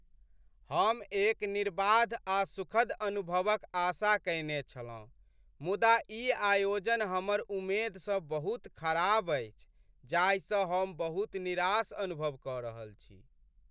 हम एक निर्बाध आ सुखद अनुभवक आशा कयने छलहुँ, मुदा ई आयोजन हमर उमेद सँ बहुत खराब अछि, जाहिसँ हम बहुत निराश अनुभव क रहल छी ।